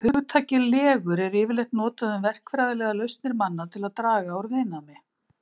Hugtakið legur er yfirleitt notað um verkfræðilegar lausnir manna til að draga úr viðnámi.